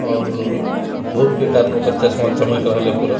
और धुप के कारण ओकर चश्मा चमक रहल ये पूरा।